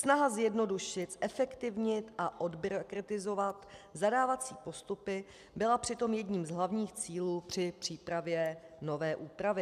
Snaha zjednodušit, zefektivnit a odbyrokratizovat zadávací postupy byla přitom jedním z hlavních cílů při přípravě nové úpravy.